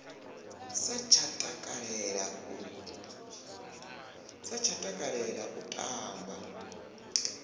sa tsha takalela u tamba